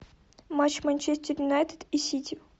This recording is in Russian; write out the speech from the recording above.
матч манчестер юнайтед и сити